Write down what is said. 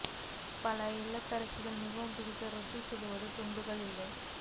பல இல்லத்தரசிகள் மிகவும் பிடிக்கும் ரொட்டி சுடுவது துண்டுகள் இல்லை